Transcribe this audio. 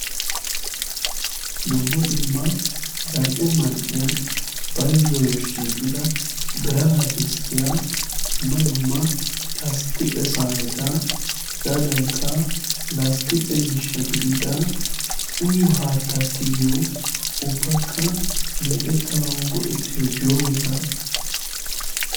Dumma dumma zal"e man"iyan baizzoyyo shiiqida birataddisttiya dumma dumma lasttiqe saaneta hegaadankka lasttiqe miishsha gididda uyyo haatta tigiyo ubbakka mee'ettanau go'ettiyo joogeta.